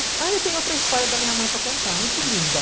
Ah, eu tenho outra história da minha mãe para contar, muito linda.